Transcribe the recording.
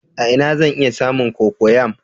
A ina zan iya samun cocoyam?